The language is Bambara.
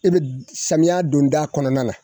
E bɛ samiya donda kɔnɔna na.